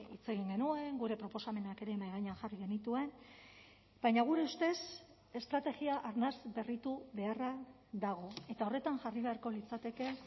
hitz egin genuen gure proposamenak ere mahai gainean jarri genituen baina gure ustez estrategia arnas berritu beharra dago eta horretan jarri beharko litzateke